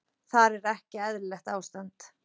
Þar er ekki eðlilegt ástand.